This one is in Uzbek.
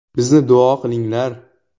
Bizni duo qilinglar.